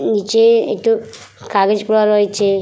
নিচে একটু কাগজ পোড়া রয়েছে ।